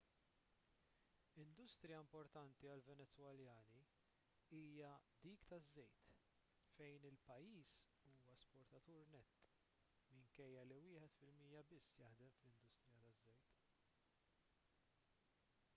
industrija importanti għal-venezwelani hija dik taż-żejt fejn il-pajjiż huwa esportatur nett minkejja li wieħed fil-mija biss jaħdem fl-industrija taż-żejt